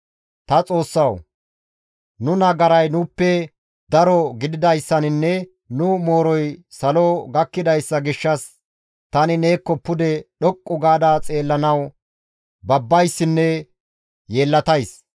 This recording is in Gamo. «Ta Xoossawu! Nu nagaray nuuppe daro gididayssaninne nu mooroy salo gakkidayssa gishshas tani neekko pude dhoqqu gaada xeellanawu babbayssinne yeellatays.